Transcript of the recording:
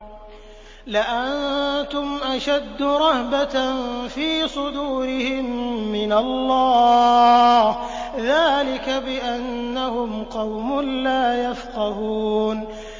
لَأَنتُمْ أَشَدُّ رَهْبَةً فِي صُدُورِهِم مِّنَ اللَّهِ ۚ ذَٰلِكَ بِأَنَّهُمْ قَوْمٌ لَّا يَفْقَهُونَ